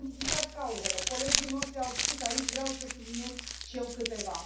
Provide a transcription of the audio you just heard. Am identificat cauzele colegii noștri au spus aici, vreau să subliniez și eu câteva.